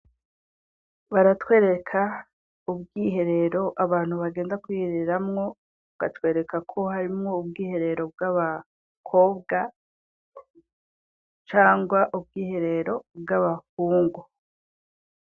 Baratwereka ubwiherero abantu bagenda kwihereramwo batwerekako harimwo ubwiherero bw'abakobwa cangwa ubwiherero bw'abahungu.